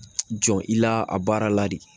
Jɔn i la a baara la de